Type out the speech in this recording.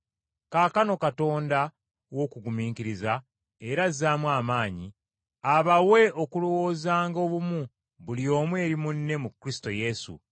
Kaakano Katonda w’okugumiikiriza era azaamu amaanyi, abawe okulowoozanga obumu buli omu eri munne mu Kristo Yesu,